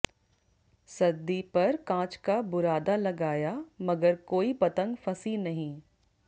सददी पर कांच का बुरादा लगाया मगर कोई पतंग फंसी नहीं